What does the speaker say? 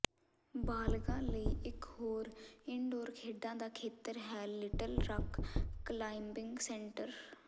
ਬਾਲਗ਼ਾਂ ਲਈ ਇਕ ਹੋਰ ਇਨਡੋਰ ਖੇਡਾਂ ਦਾ ਖੇਤਰ ਹੈ ਲਿਟਲ ਰਕ ਕਲਾਈਬਿੰਗ ਸੈਂਟਰ